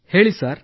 ಹೇಳಿ ಸರ್